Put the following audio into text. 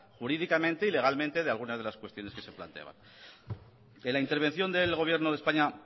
jurídicamente y legalmente de algunas de las cuestiones que se planteaban en la intervención del gobierno de españa